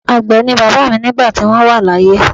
Àgbẹ̀ ni bàbá mi nígbà tí wọ́n wà láyé.